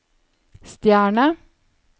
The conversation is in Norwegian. stjerne